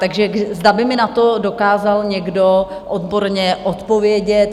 Takže zda by mi na to dokázal někdo odborně odpovědět.